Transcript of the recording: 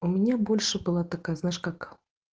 у меня больше была такая знаешь как